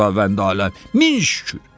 Ya Xudavəndi aləm, min şükür!